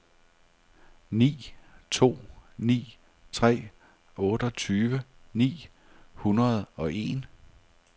ni to ni tre otteogtyve ni hundrede og en